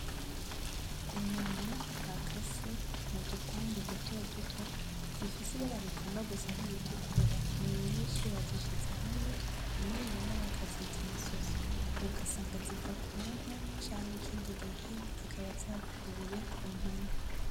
Inyama bakase mu dupande duto duto zifise ibara rigomba gusa nk’iritukura, ni nyinshi bazishize hamwe, rimwe rimwe bakazita umusoso ugasanga ziva ku nka canke ikindi gihe zikaba zavuye ku mpene.